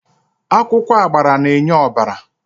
Akwụkwọ agbara na-enye ọbara.